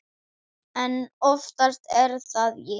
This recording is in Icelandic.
En oftast er það ég.